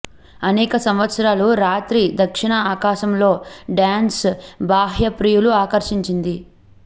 అనేక సంవత్సరాలు రాత్రి దక్షిణ ఆకాశంలో డ్యాన్స్ బాహ్య ప్రియులు ఆకర్షించింది